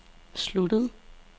sluttede